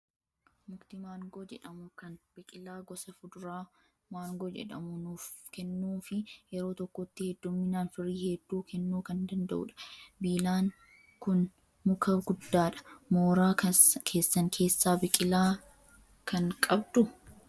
Mukti maangoo jedhamu kan biqilaa gosa fuduraa maangoo jedhamu nuuf kennuu fi yeroo tokkotti hedduminaan firii hedduu kennuu kan danda'udha. Biilaan kun muka guddaadha. Mooraa keessan keessaa biqilaa kan qabduu?